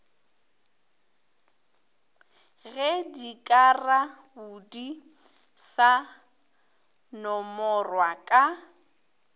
ge dikarabodi sa nomorwa ka